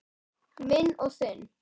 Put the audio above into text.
Minn og þinn.